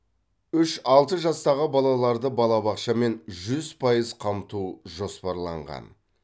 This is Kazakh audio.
үш алты жастағы балаларды балабақшамен жүз пайыз қамту жоспарланған